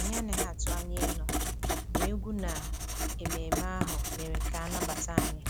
Anyị anaghị atụ anya ịnọ, ma egwú na ememe ahụ mere ka a nabata anyị